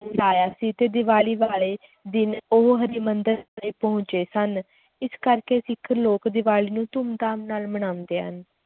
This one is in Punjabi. ਛਡਾਇਆ ਸੀ ਤੇ ਦੀਵਾਲੀ ਵਾਲੇ ਦਿਨ ਉਹ ਹਰਿਮੰਦਰ ਪਹੁੰਚੇ ਸਨ, ਇਸ ਕਰਕੇ ਸਿੱਖ ਲੋਕ ਦੀਵਾਲੀ ਨੂੰ ਧੂਮਧਾਮ ਨਾਲ ਮਨਾਉਂਦੇ ਹਨ।